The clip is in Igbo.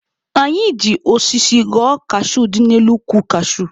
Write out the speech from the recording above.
Anyị ji osisi ghọọ kashuu dị n'elu ukwu kashuu.